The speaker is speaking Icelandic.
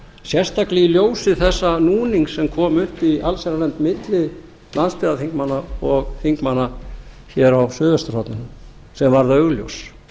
sérstaklega í ljósi þessa núnings sem kom upp í allsherjarnefnd milli landsbyggðarþingmanna og þingmanna hér á suðvesturhorninu sem var augljós